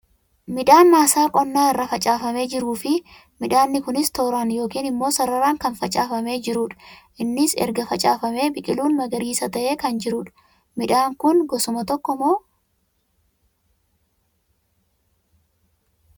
Midhaan maasaa qonnaa irra facaafame jiruu fi midhaanni kunis tooraan yookiin immoo sararaan kan facaafamee jiruu dha. Innis erga facaafamee biqiluun magariisa tahee kan jiruu dha. Midhaan kun gosuma tokko moo?